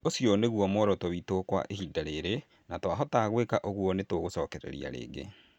Ũcio nĩguo muoroto witũ kwa ihinda rĩrĩ na twahota gwĩka ũguo nĩtũgũcokereria rigi